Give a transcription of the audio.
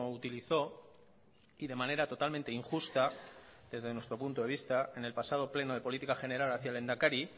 utilizó y de manera totalmente injusta desde nuestro punto de vista en el pasado pleno de política general hacia el lehendakari